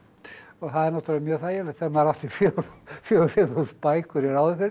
það er náttúrulega mjög þægilegt þegar maður átti fjögur til fimm þúsund bækur hér áður fyrr